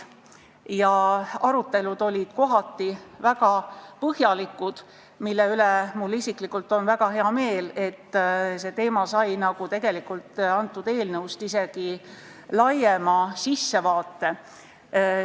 Arutelud olid kohati väga põhjalikud, mille üle mul isiklikult on väga hea meel, see teema sai tegelikult isegi laiema sissevaate, kui on eelnõus.